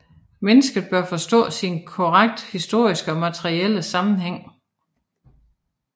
Mennesket bør forstås i sin konkret historiske og materielle sammenhæng